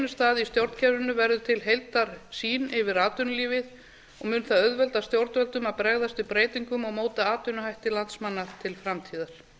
stað í stjórnkerfinu verður til heildarsýn yfir atvinnulífið og mun það auðvelda stjórnvöldum að bregðast við breytingum og móta atvinnuhætti landsmanna til framtíðar